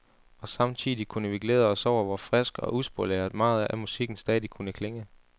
Og samtidigt kunne vi glæde os over, hvor frisk og uspoleret meget af musikken stadig kunne klinge.